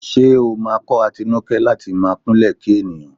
Ṣé ó máa kọ́ Atinúkẹ́ láti máa kúnlẹ̀ kí ènìyàn?